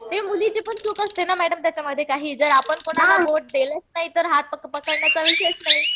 ते मुलीची पण चूक असते ना मॅडम त्याच्यामध्ये काही. जर आपण कोणाला बोट दिलंच नाही तर हात पकडण्याचा विषयच नाही.